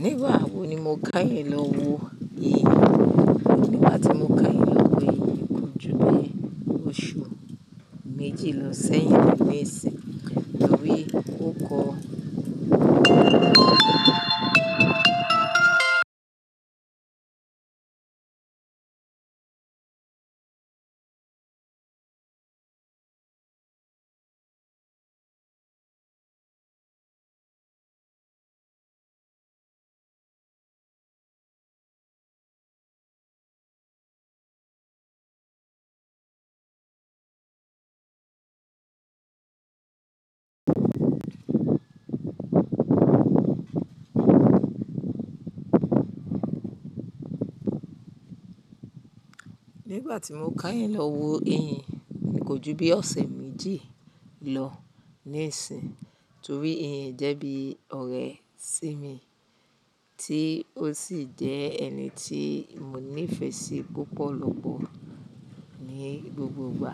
Nígbà wo ni mo káyàn lọ wo eyín? Nígbà tí mo keyin lọ wo eyín kò ju bi osu meji lo se yin ni sin tori o ko. Ju bí ọ̀sẹ̀ méjì lọ níìsín, torí eyín jẹ́ bí ọ̀rẹ́ sí mi, tí ó sì jẹ́ ẹni tí mo nífẹ̀ẹ́ sí púpọ̀lọpọ̀ ní gbogbogbà.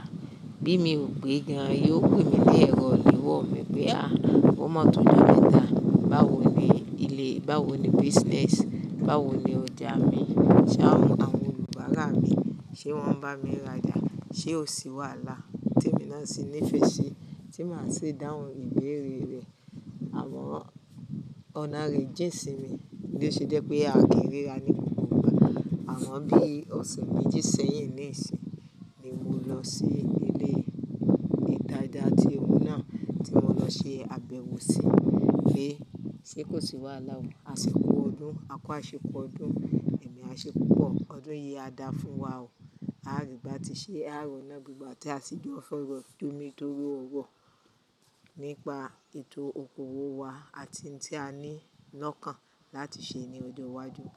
Bí mi ò gbé gan, yóò pè mí ní ẹ̀rọ ilewọ mi pé "à, o mo tó jo meta báwo ni ilé Báwo ni business? Báwo ni ọjà mi? Ṣé àwọn olùbárà mi ṣe wọ́n ń bá mi rajà? Ṣé o sí wàhálà?" Tí èmi náà sì nífẹ̀ẹ́ sí, tí mà sì dáhùn ìbéèrè rẹ̀. Àmọ́, ọ̀nà re jẹ́ sí mi, bí ó ṣe jẹ́ pé a kìí ríra ní gbogbogbà. Àmọ́ bí ọ̀sẹ̀ méjì sẹ́yìn níìsín ni mo lọ sí ilé idáadáa tí óun náà tí mo lọ ṣe àbẹ̀wò sí. Pé, ṣé kò sí wàhálà o, asiko ọdún, a kó aṣẹ kú ọdún, ẹ̀mí aṣẹ pupọ̀, ọdún yìí á dáa fún wa o. Aari batise àári ona gbegba tí a sì jọ fọ̀rọ̀ jomi tóró oro nípa ètò okòwò wa àti ntí a ní lọ́kàn láti ṣe ní ọjọ́ iwájú.